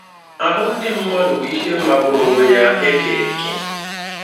Ahụ́ ndị mmadụ bụ ihe magburu onwe ya e kere eke!